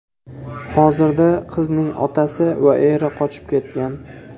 Hozirda qizning otasi va eri qochib ketgan.